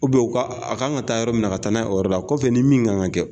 u ka, a kan ka taa yɔrɔ min na ka taa n'a ye o yɔrɔ la. Kɔfɛ ni min kan ka kɛ